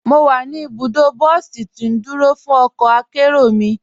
Mọ́ wà ní ibùdó bọ̀sí tì ndúró fún ọkọ̀ àkéró mi.